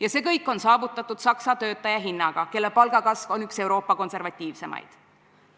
Ja see kõik on saavutatud Saksa töötaja hinnaga, kelle palgakasv on üks Euroopa konservatiivsemaid.